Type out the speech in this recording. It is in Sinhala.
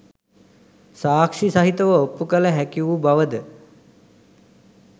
සාක්‍ෂි සහිතව ඔප්පු කළ හැකි වූ බව ද